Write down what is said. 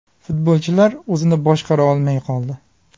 Futbolchilar o‘zini boshqara olmay qoldi.